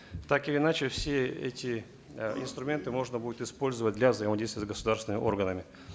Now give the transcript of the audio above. так или иначе все эти э инструменты можно будет использовать для взаимодействия с государственными органами